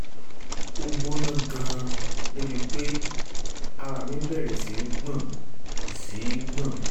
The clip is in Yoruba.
ó gbóná gan-an débi pé ara mi bẹ̀rẹ̀ sí í gbọ̀n sí í gbọ̀n